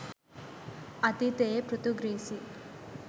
අතීතයේ පෘතුගීසි